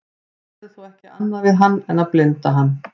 þeir gerðu þó ekki annað við hann en að blinda hann